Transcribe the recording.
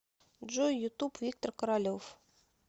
джой ютуб виктор королев